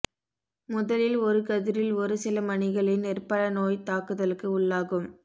முதலில் ஒருகதிரில் ஒரு சில மணிகளே நெற்பழ நோய்த் தாக்குதலுக்கு உள் ளாகும்